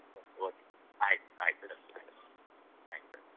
Okay ಆಯ್ತು ಆಯ್ತು bye sir.